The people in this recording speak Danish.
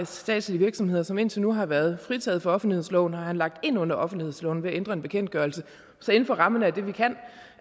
statslige virksomheder som indtil nu har været fritaget for offentlighedsloven dem har han lagt ind under offentlighedsloven ved at ændre en bekendtgørelse så inden for rammerne af det vi kan